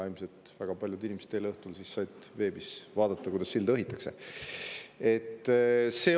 Ilmselt said väga paljud inimesed eile õhtul veebis vaadata, kuidas silda õhitakse.